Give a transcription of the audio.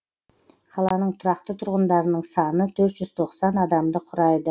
қаланың тұрақты тұрғындарының саны төрт жүз тоқсан адамды құрайды